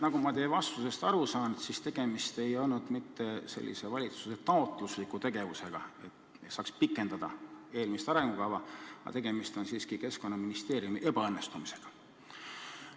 Nagu ma teie vastusest aru saan, siis tegemist ei olnud mitte valitsuse taotlusliku tegevusega, et saaks pikendada eelmist arengukava, vaid tegemist oli siiski Keskkonnaministeeriumi ebaõnnestumisega.